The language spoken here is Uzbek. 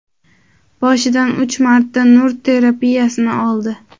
Boshidan uch marta nur terapiyasini oldi.